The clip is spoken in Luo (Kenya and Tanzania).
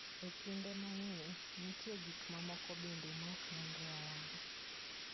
E kinde mang'eny, nitie gik mamoko bende ma ok nenre ayanga.